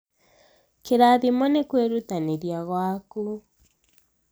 kĩrathimo nĩ kwĩrutanĩria gwaku